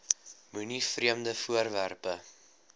moenie vreemde voorwerpe